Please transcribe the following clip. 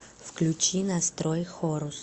включи настрой хорус